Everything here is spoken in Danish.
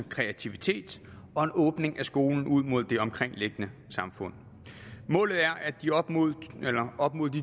kreativitet og en åbning af skolen ud mod det omkringliggende samfund målet er at de op mod